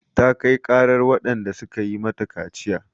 Ta kai ƙarar waɗanda suka yi mata kaciya.